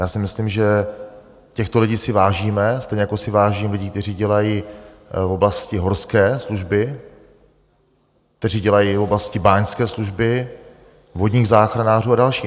Já si myslím, že těchto lidí si vážíme, stejně jako si vážím lidí, kteří dělají v oblasti horské služby, kteří dělají v oblasti báňské služby, vodních záchranářů a dalších.